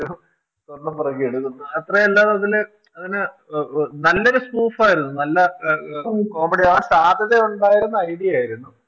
സ്വാർണം പിറക്കിയെടുക്കുന്നു, അത്രയല്ലാതെ അതില് അതിനു നല്ലൊരു Smoof ആയിരുന്നു നല്ല Comedy യാവാൻ സാധ്യതയുണ്ടായിരുന്ന idea ആയിരുന്നു